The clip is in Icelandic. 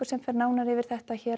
fer nánar yfir þetta hér